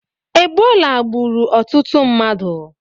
Egbola gburu ututu mmadu